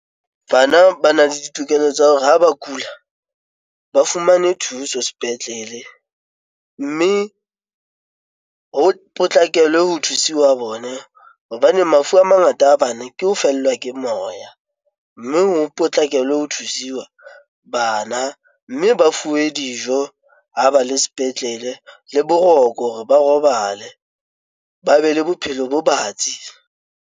Bana ba na le ditokelo tsa hore ha ba kula, ba fumane thuso sepetlele, mme ho potlakelwe ho thusiwa bone hobane mafu a mangata a bane ke ho fellwa ke moya, mme ho potlakela ho thusiwa bana mme ba fuwe dijo, ho ba le sepetlele le boroko hore ba robale ba be le bophelo bo batsi.